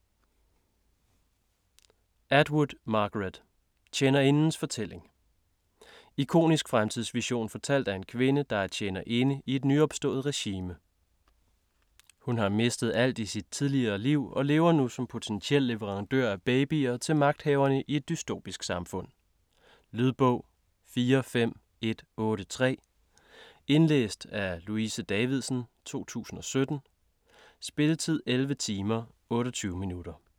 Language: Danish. Atwood, Margaret: Tjenerindens fortælling Ikonisk fremtidsvision fortalt af en kvinde, der er "tjenerinde" i et nyopstået regime. Hun har mistet alt i sit tidligere liv og lever nu som potentiel leverandør af babyer til magthaverne i et dystopisk samfund. Lydbog 45183 Indlæst af Louise Davidsen, 2017. Spilletid: 11 timer, 28 minutter.